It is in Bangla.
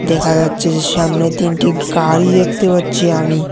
দেখা যাচ্ছে যে সামনে তিনটি গাড়ি দেখতে পাচ্ছি আমি।